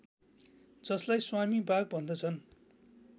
जसलाई स्वामी बाग भन्दछन्